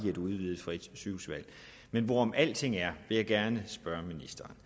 et udvidet frit sygehusvalg men hvorom alting er vil jeg gerne spørge ministeren